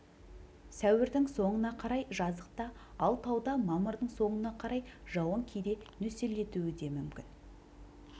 сәуірдің соңына қарай жазықта ал тауда мамырдың соңына қарай жауын кейде нөсерлетуі де мүмкін